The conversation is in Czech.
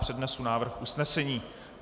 Přednesu návrh usnesení.